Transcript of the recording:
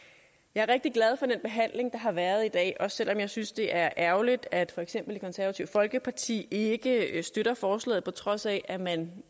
jeg er rigtig glad for den behandling der har været i dag også selv om jeg synes det er ærgerligt at for eksempel det konservative folkeparti ikke støtter forslaget på trods af at man